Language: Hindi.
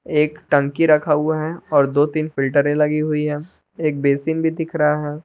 एक टंकी रखा हुआ है और दो तीन फिल्टरें लगी हुई हैं एक बेसिन भी दिख रहा है।